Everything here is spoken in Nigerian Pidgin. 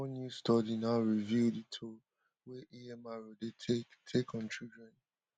one new study now reveal di toll wey amr dey take take on children